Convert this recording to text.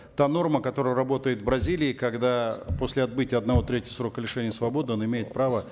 та норма которая работает в бразилии когда после отбытия одной трети срока лишения свободы он имеет право